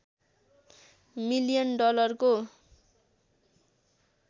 million डलरको